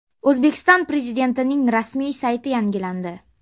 O‘zbekiston Prezidentining rasmiy sayti yangilandi.